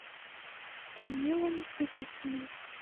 данилом березиным